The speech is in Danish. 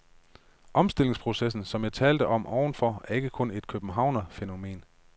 Omstillingsprocessen, som jeg talte om ovenfor, er ikke kun et københavnerfænomen.